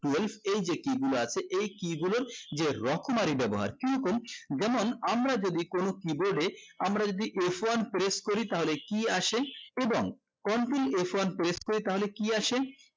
twelve এই যে key গুলো আছে এই key গুলোর যে রকমারি ব্যবহার কি রকম যেমন আমরা যদি কোন keyboard এ আমরা যদি f one press করি তাহলে কি আসে এবং continue f one press করি তাহলে কি আসে